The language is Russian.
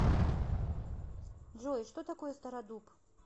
джой что такое стародуб